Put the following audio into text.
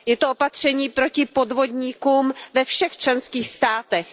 Je to opatření proti podvodníkům ve všech členských státech.